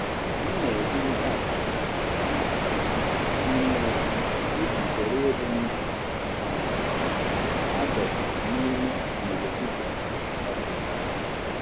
M na-ejigide àgwà um ziri ezi iji zere ịbụ ndị um a dọkpụrụ n'ime negativity ọfịs.